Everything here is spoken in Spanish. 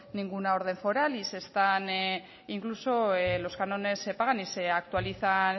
ninguna orden foral e incluso los cánones se pagan y